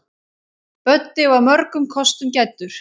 Böddi var mörgum kostum gæddur.